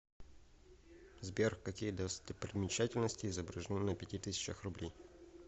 сбер какие достопримечательности изображены на пяти тысячах рублей